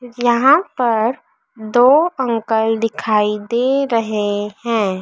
यहां पर दो अंकल दिखाई दे रहे हैं।